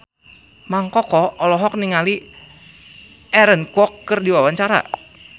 Mang Koko olohok ningali Aaron Kwok keur diwawancara